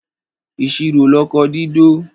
Ìṣirò lọkọ dídó